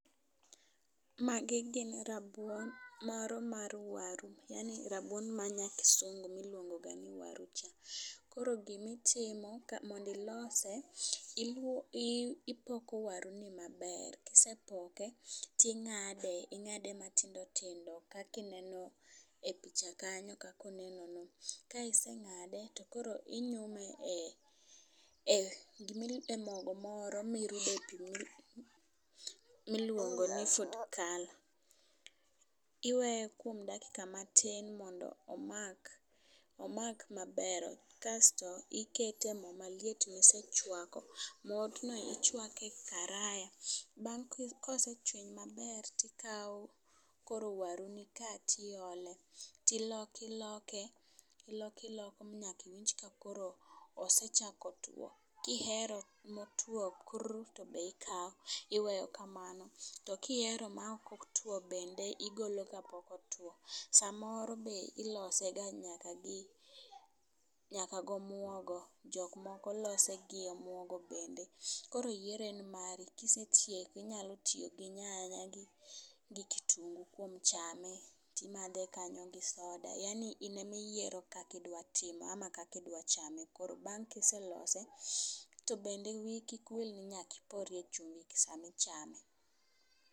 Magi gin rabuon moro mar waru, yaani rabuon ma nya kisungu miluongo ga ni waru cha . Koro gimitimo mondi lose i ipoko waru ni maber kisepoke ting'ade ing'ade matindo tindo kaki neno e picha kanyo kako neno no. Ka iseng'ade to koro inyume e e mogo moro mirude pii miluongo ni food color. Iweye kuom dakika matin mondo omak maber. Kasto ikete moo maliet misechwake, mor no ichwake e karaya .Bang'' kosechweny maber tikawo koroo waru ni kati ole tiloke loke iloke iloke manyaki winj ka koro osechako two. Kihero motwo kuur to be ikawo iweyo kamano to kihero ma ok otwo bende igolo ka pok otwo. Samoro be ilose ga nyaka gi nyaka gi omwogo jok mogo loso ga nyaka gomwongo jok moko lose gi omwongo bende. Koro yiero en mari kisetieke inyalo tiyo gi nyanya gi kitungu kuom chame timadhe kanyo gi soda koro in emiyiero kakidwa time amam kaki dwa chame koro. Bang' kiselose to bende wiyi kik wil ni nyaki ore chumbi sami chame.